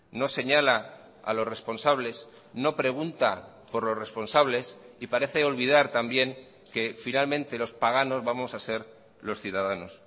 no señala a los responsables no pregunta por los responsables y parece olvidar también que finalmente los paganos vamos a ser los ciudadanos